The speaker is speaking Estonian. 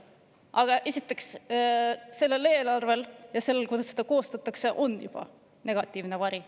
Aga praegusel eelarvel ja sellel, kuidas seda koostatakse, on juba negatiivne vari.